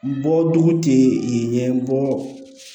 Bɔ dugu tɛ ɲɛ n bɔ